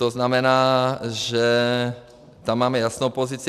To znamená, že tam máme jasnou pozici.